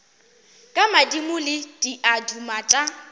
ke madimo le diaduma tša